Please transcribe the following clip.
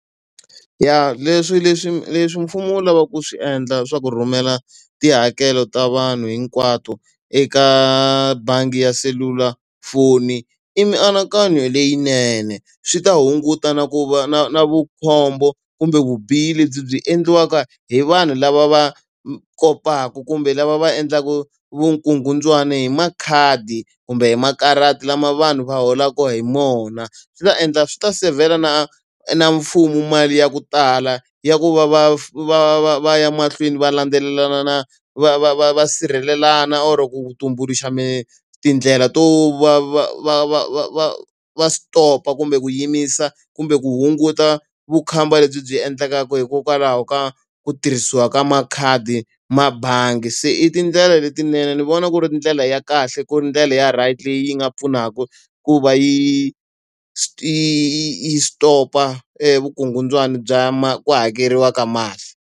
Ya leswi leswi leswi mfumo wu lavaka ku swi endla swa ku rhumela tihakelo ta vanhu hinkwato eka bangi ya selulafoni i mianakanyo leyinene. Swi ta hunguta na ku va na na vukhombo kumbe vubihi lebyi byi endliwaka hi vanhu lava va kotaka kumbe lava va endlaka vukungundzwani hi makhadi, kumbe hi makarati lama vanhu va holaka hi wona. Swi ta endla swi ta seyivhela na na mfumo mali ya ku tala ya ku va va va va va ya mahlweni va landzelelana na va va va va sirhelelana or ku tumbuluxa tindlela to va va va va va va va stop-a kumbe ku yimisa kumbe ku hunguta vukhamba lebyi byi endlekaka hikokwalaho ka ku tirhisiwa ka makhadi ma bangi. Se i tindlela letinene ni vona ku ri ndlela ya kahle ku ri ndlela ya right leyi yi nga pfunaka ku va yi yi yi yi stop-a e vukungundzwani bya ku hakeriwa ka mali.